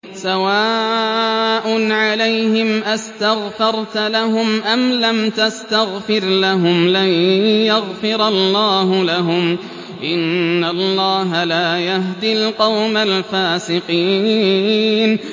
سَوَاءٌ عَلَيْهِمْ أَسْتَغْفَرْتَ لَهُمْ أَمْ لَمْ تَسْتَغْفِرْ لَهُمْ لَن يَغْفِرَ اللَّهُ لَهُمْ ۚ إِنَّ اللَّهَ لَا يَهْدِي الْقَوْمَ الْفَاسِقِينَ